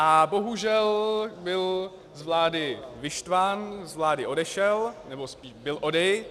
A bohužel byl z vlády vyštván, z vlády odešel, nebo spíš byl odejit.